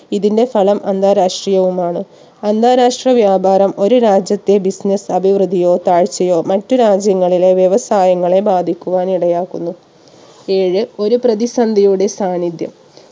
ഇതിന്റെ ഫലം അന്താരാഷ്ട്രീയവുമാണ് അന്താരാഷ്ട്ര വ്യാപാരം ഒരു രാജ്യത്തെ business അഭിവൃദ്ധിയോ താഴ്ചയോ മറ്റ് രാജ്യങ്ങളിലെ വ്യവസായങ്ങളെ ബാധിക്കുവാൻ ഇടയാക്കുന്നു ഏഴ് ഒരു പ്രതിസന്ധിയുടെ സാന്നിധ്യം